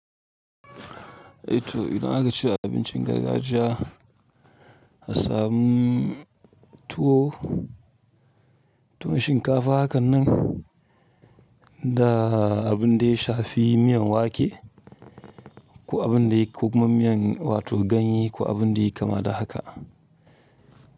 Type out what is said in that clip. Eh to idan aka ce abincin gargajiya, asamu tuwo, tuwon shinkafa hakan nan da abun da ya shafi miyan wake ko abun da ya ko kuma miyan wato ganye ko abun da ya kama da haka.